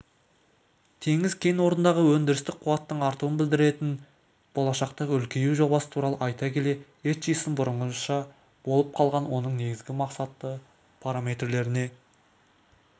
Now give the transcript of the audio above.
теңіз кен орнындағы өндірістік қуаттың артуын біддіретін болашақтағы үлкею жобасы туралы айта келе этчисон бұрынғыша болып қалған оның негізгі мақсатты параметрлеріне